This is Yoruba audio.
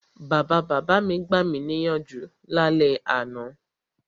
Bàbabàbá mi gbami níyànjú lálẹ́ àná.